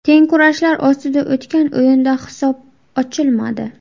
Teng kurashlar ostida o‘tgan o‘yinda hisob ochilmadi.